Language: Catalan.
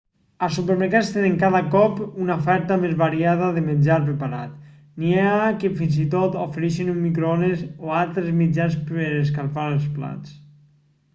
els supermercats tenen cada cop una oferta més variada de menjar preparat n'hi ha que fins i tot ofereixen un microones o altres mitjans per escalfar els plats